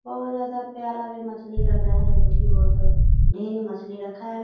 बहोत ज्यादा प्यारा भी मछली लग रहा है जो कि बहोत ढ़ेरी मछली रखा है ।